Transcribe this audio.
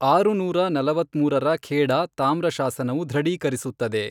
ಆರುನೂರ ನಲವತ್ಮೂರರ ಖೇಡಾ ತಾಮ್ರ ಶಾಸನವು ದೃಢೀಕರಿಸುತ್ತದೆ.